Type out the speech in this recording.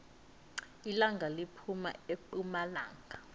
ilanga liphuma epumalanga